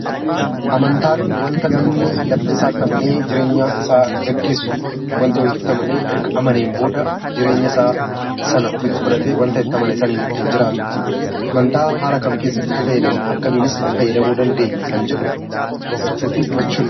Amantaan wanta namni laphee isaatti amanee jireenya isaa geggeessuuf ofitti fudhatee ittiin jiraatu amantaa jenna. Amantaa haala kam keessatti itti fayyadamna? Haala kamiinis itti fayyadamuu dandeenya?